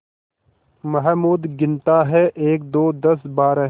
महमूद गिनता है एकदो दसबारह